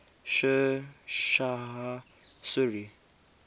sher shah suri